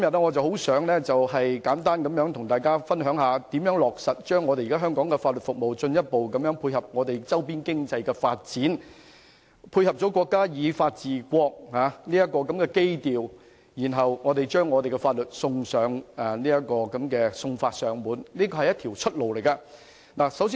我今天想與大家分享一下，香港的法律服務如何進一步配合周邊經濟的發展，以及配合國家以法治國的基調，落實送法上門，為本港謀求另一條出路。